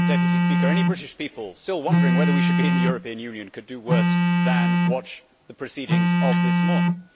Madam President, any British people still wondering whether we should be in the European Union could do worse than watch the proceedings of this morning.